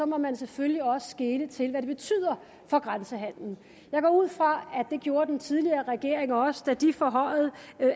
må man selvfølgelig også skele til hvad det betyder for grænsehandelen jeg går ud fra at det gjorde den tidligere regering også da de forhøjede